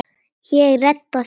Ég redda því.